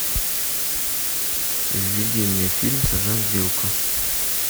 введи мне фильм сержант билко